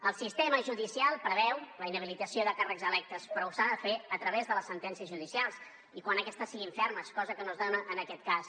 el sistema judicial preveu la inhabilitació de càrrecs electes però s’ha de fer a través de les sentències judicials i quan aquestes siguin fermes cosa que no es dona en aquest cas